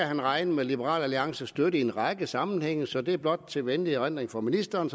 han regne med liberal alliances støtte i en række sammenhænge så det er blot til venlig erindring for ministeren